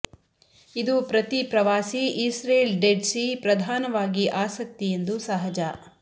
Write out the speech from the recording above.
ಇದು ಪ್ರತಿ ಪ್ರವಾಸಿ ಇಸ್ರೇಲ್ ಡೆಡ್ ಸೀ ಪ್ರಧಾನವಾಗಿ ಆಸಕ್ತಿ ಎಂದು ಸಹಜ